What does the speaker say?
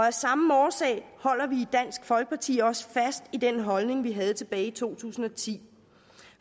af samme årsag holder vi i dansk folkeparti også fast i den holdning vi havde tilbage i to tusind og ti